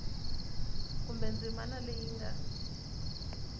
kumbe ndzimana leyi yi nga